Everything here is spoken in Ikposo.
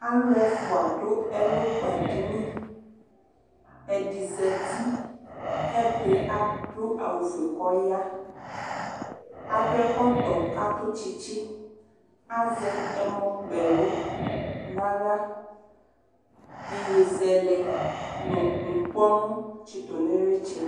alʋɛfʋa dʋ ɛlʋ kpa dini ɛdi zati kɛdi adʋ awʋfʋe kɔya adʋ ɛkɔtɔ katʋ tsitsi azɛ ɛmɔ kpɛlʋ nahla yeyezɛlɛ nu ŋkpɔnu tsitʋ nʋ iritsɛ